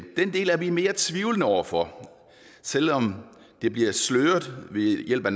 den del er vi mere tvivlende over for selv om det bliver sløret ved hjælp af